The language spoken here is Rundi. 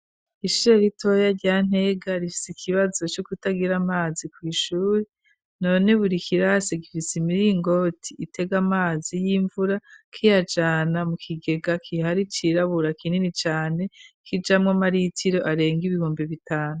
Ishure itoya rya Ntega rifise ikibazo co kutagira amazi ku ishuri none buri kirasi gifise imiringo itego amazi y'imvura k'iyajana mu kigega kihari cirabura kinini cane k'ijamo maritiro arenga ibihumbe bitanu.